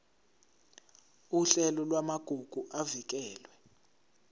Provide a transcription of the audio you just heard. uhlelo lwamagugu avikelwe